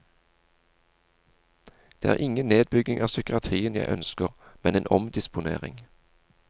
Det er ingen nedbygging av psykiatrien jeg ønsker, men en omdisponering.